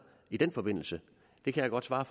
i den forbindelse det kan jeg godt svare